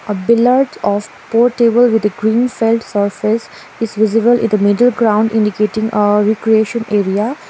of table with a green surface is visible in the middle ground indicating a recreation area.